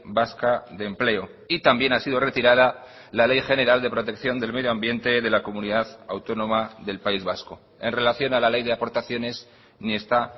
vasca de empleo y también ha sido retirada la ley general de protección del medio ambiente de la comunidad autónoma del país vasco en relación a la ley de aportaciones ni está